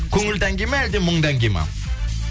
көңілді әнге ма әлде мұңды әнге ма